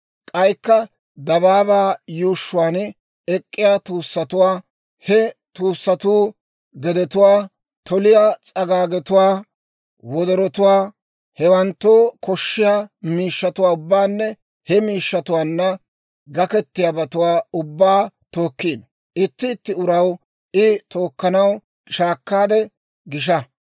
k'aykka dabaabaa yuushshuwaan ek'k'iyaa tuussatuwaa, he tuussatuu gedetuwaa, toliyaa s'agaagetuwaa, wodorotuwaa, hewanttoo koshshiyaa miishshatuwaa ubbaanne he miishshatuwaanna gaketiyaabatuwaa ubbaa tookkino. Itti itti uraw I tookkanawaa shaakkaade gisha.